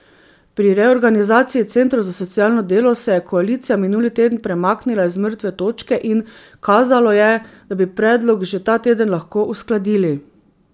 Pri reorganizaciji centrov za socialno delo se je koalicija minuli teden premaknila z mrtve točke in kazalo je, da bi predlog že ta teden lahko uskladili.